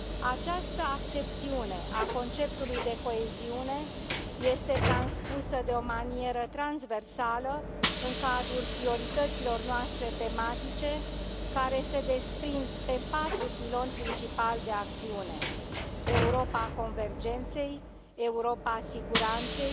Această accepțiune a conceptului de coeziune este transpusă de o manieră transversală în cadrul priorităților noastre tematice, care se desprind pe patru piloni principali de acțiune Europa convergenței, Europa siguranței,